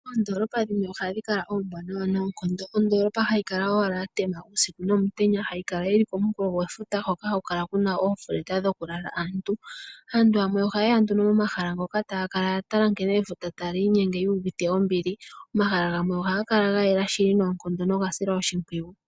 Oondolopa dhimwe ohadhi kala ombwanawa noonkondo. Ondolopa hayi kala owala ya tema uusiku nomutenya hayi kala yi li komulo gwefuta hono haku kala ku na oondunda dhokulala. Aantu yamwe ohaye ya nduno momahala ngoka taya kala ya tala efuta nkene taa li inyenge yu uvite ombili. Omahala gamwe ohaga kala ga yela shili noga silwa oshimpwiyu.